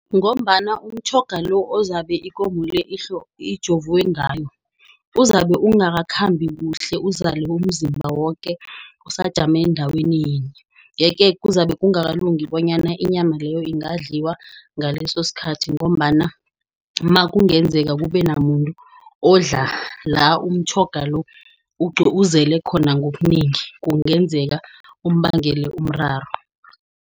Ngombana umtjhoga lo ozabe ikomo le imijovwe ngayo, uzabe ungakakhambi kuhle uzale umzimba woke. Usajame endaweni yinye. Yeke kuzabe kungakalungi bonyana inyama le ingadliwa ngaleso sikhathi ngombana makungenzeka kube namuntu odla la umtjhoga lo uzele khona ngobunengi, kungenzeka umbangele umraro.